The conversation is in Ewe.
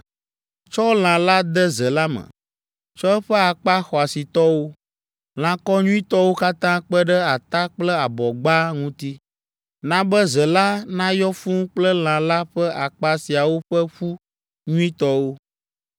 Tsɔ lã la de ze la me. Tsɔ eƒe akpa xɔasitɔwo, lãkɔ nyuitɔwo katã kpe ɖe ata kple abɔgba ŋuti. Na be ze la nayɔ fũu kple lã la ƒe akpa siawo ƒe ƒu nyuitɔwo.